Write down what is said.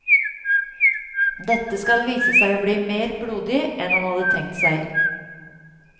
Dette skal vise seg å bli mer blodig enn han hadde tenkt seg.